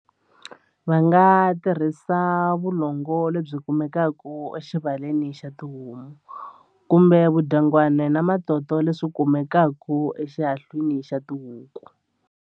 Va nga tirhisa vulongo lebyi kumekaka exivaleni xa tihomu kumbe vudyangwani na matoto leswi kumekaka exilahlwini xa tihuku.